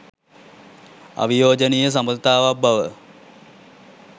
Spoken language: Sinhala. අවියෝජනීය සබඳතාවක් බව